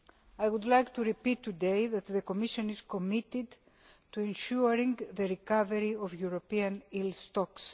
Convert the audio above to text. I would like to repeat today that the Commission is committed to ensuring the recovery of European eel stocks.